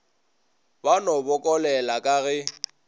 ba no bokolela ka ge